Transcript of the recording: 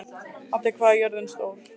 Addi, hvað er jörðin stór?